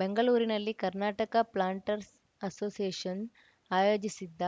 ಬೆಂಗಳೂರಿನಲ್ಲಿ Karnataka planters association ಆಯೋಜಿಸದ್ದ